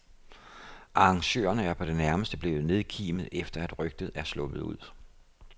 Arrangørerne er på det nærmeste blevet nedkimet, efter at rygtet er sluppet ud.